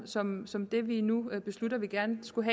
som som dem vi nu beslutter vi gerne skulle